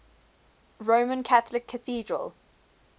roman catholic cathedral